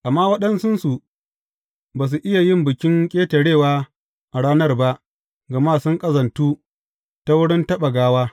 Amma waɗansunsu ba su iya yin Bikin Ƙetarewa a ranar ba gama sun ƙazantu ta wurin taɓa gawa.